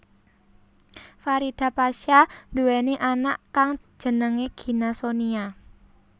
Farida pasha nduweni anak kang jenengé Gina Sonia